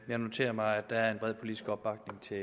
jeg noterer mig at der er en bred politisk opbakning til